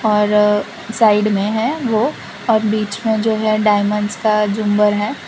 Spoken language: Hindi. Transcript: और साइड में है वो और बीच में जो है डायमंड्स का झूमर है।